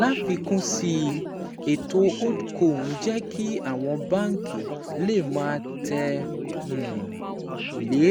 Láfikún sí i, ètò HoldCo ń jẹ́ kí àwọn báńkì lè máa tẹ̀ um lé